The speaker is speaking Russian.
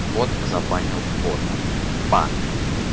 бот забанил бота бан